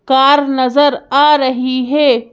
Car नजर आ रही है।